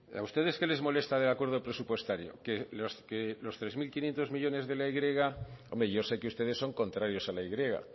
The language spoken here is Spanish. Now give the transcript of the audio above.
a ustedes qué les molesta del acuerdo presupuestario los tres mil quinientos millónes de la y hombre yo sé que ustedes son contrarios a la y